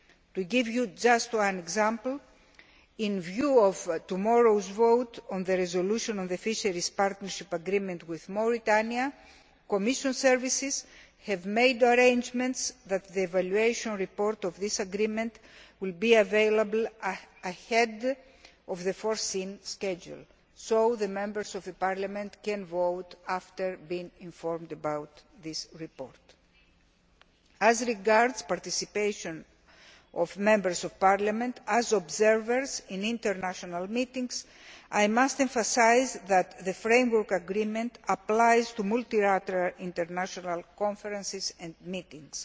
To give you just one example in view of tomorrow's vote on the resolution of the Fisheries Partnership Agreement with Mauritania, the Commission services have made arrangements that the evaluation report of this agreement will be available ahead of the foreseen schedule, so the members of this Parliament can vote after being informed about this report. As regards participation of members of this Parliament as observers in international meetings, I must emphasise that the Framework Agreement applies to multilateral international conferences and meetings.